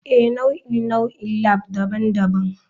Ee, nau'in nau'in labs daban-daban.